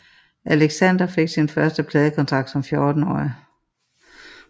Alexander fik sin første pladekontrakt som 14 årig